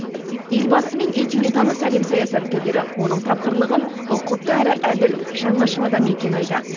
елбасымен етене таныс әлем саясаткерлері оның тапқырлығын ұқыпты әрі әділ жаңашыл адам екенін айтады